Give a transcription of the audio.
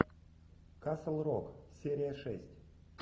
касл рок серия шесть